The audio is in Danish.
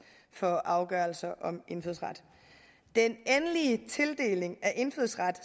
for afgørelser om indfødsret den endelige tildeling af indfødsret